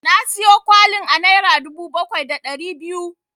Na siyo kwalin a naira dubu bakwai da ɗari biyu.